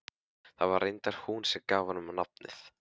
Það var reyndar hún sem gaf honum nafnið.